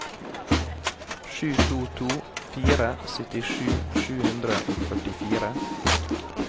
sju to to fire syttisju sju hundre og førtifire